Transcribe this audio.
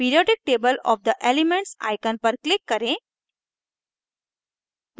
periodic table of the elements icon पर click करें